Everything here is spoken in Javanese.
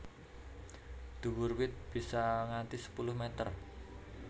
Dhuwur wit bisa nganti sepuluh meter